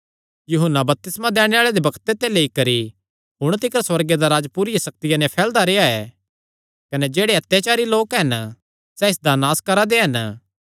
यूहन्ना बपतिस्मा दैणे आल़े दे बग्ते ते लेई करी हुण तिकर सुअर्गे दा राज्ज पूरिया सक्तिया नैं फैलदा रेह्आ ऐ कने जेह्ड़े अत्याचारी लोक हन सैह़ इसदा नास करा दे हन